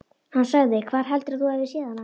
Hann sagði: Hvar heldurðu að þú hafir séð hana?